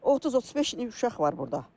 30-35-ə uşaq var burda.